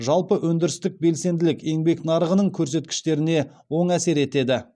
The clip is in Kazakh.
жалпы өндірістік белсенділік еңбек нарығының көрсеткіштеріне оң әсер етеді